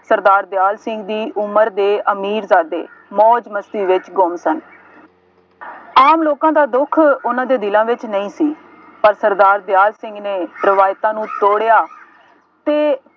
ਸਰਦਾਰ ਦਿਆਲ ਸਿੰਘ ਦੀ ਉਮਰ ਦੇ ਅਮੀਰਜ਼ਾਦੇ ਮੌਜ ਮਸਤੀ ਵਿੱਚ ਗੁੰਮ ਸਨ। ਆਮ ਲੋਕਾਂ ਦਾ ਦੁੱਖ ਉਹਨਾ ਦੇ ਦਿਲਾਂ ਵਿੱਚ ਨਹੀਂ ਸੀ। ਪਰ ਸਰਦਾਰ ਦਿਆਲ ਸਿੰਘ ਨੇ ਰਵਾਇਤਾਂ ਨੂੰ ਤੋੜਿਆ ਅਤੇ